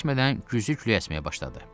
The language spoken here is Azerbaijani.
Çox keçmədən gücülüləşməyə başladı.